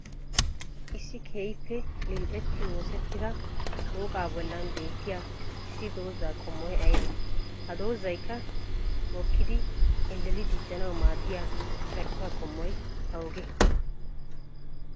Issi keehippe lill'etti oosettida shooqaa bollan beettiyaa issi dozzaa qommoy ayibbe? Ha dozzaykka mokkidi elleli diccanawu maadiyaa caarkkuwaa qommoy awugge?